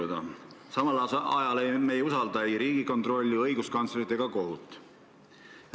Ja samal ajal me ei usalda ei Riigikontrolli, õiguskantslerit ega kohut.